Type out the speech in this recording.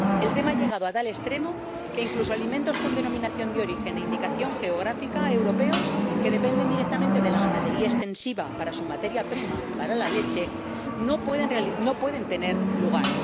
El tema ha llegado a tal extremo que, incluso alimentos con denominación de origen e indicación geográfica europeos, que dependen directamente de la ganadería extensiva para su materia prima —para la leche—, no pueden tener lugar.